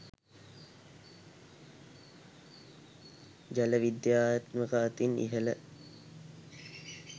ජල විද්‍යාත්මක අතින් ඉහළ